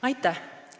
Aitäh!